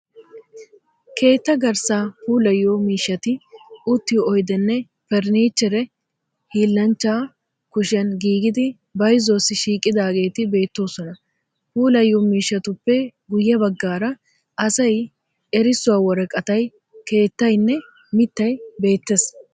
Keetta garssaa puullayiyo miishshati uttiyo oydeenne furnnichchere hiillanchchaa kushiyan giigidi bayzzuwaassi shiiqidaageeti beettoosona. Puulayiyo miishshatuppe guye baggaara asayi, erissuwa woraqatay, keettayinne mittayi beettees.